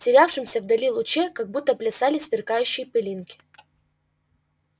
в терявшемся вдали луче как будто плясали сверкающие пылинки